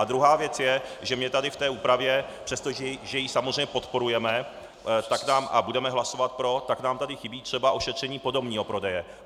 A druhá věc je, že mně tady v té úpravě, přestože ji samozřejmě podporujeme a budeme hlasovat pro, tak nám tady chybí třeba ošetření podomního prodeje.